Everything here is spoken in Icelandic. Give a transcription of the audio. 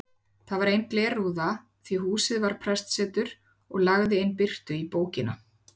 Þar var ein glerrúða því húsið var prestsetur og lagði inn birtu á bókina.